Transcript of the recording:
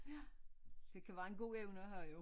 Ja det kan være en god evne at have jo